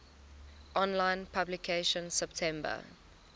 online publication september